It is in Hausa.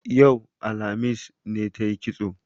Yau, alhamis, ne tayi kitso